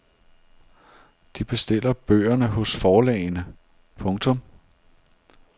De bestiller bøgerne hos forlagene. punktum